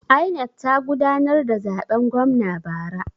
INEC ta gudanar da zaben gwamna bara.